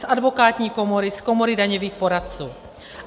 Z advokátní komory, z Komory daňových poradců.